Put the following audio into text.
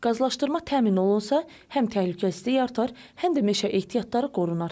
Qazlaşdırma təmin olunsa, həm təhlükəsizlik artar, həm də meşə ehtiyatları qorunar.